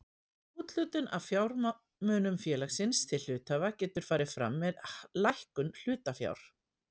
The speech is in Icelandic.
Úthlutun af fjármunum félagsins til hluthafa getur farið fram með lækkun hlutafjár.